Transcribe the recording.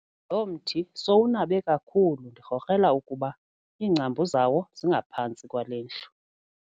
Lo mthi sowunabe kakhulu ndikrokrela ukuba iingcambu zawo zingaphantsi kwale ndlu.